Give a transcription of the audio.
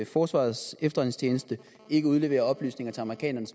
forsvarets efterretningstjeneste ikke udleverer oplysninger til amerikanerne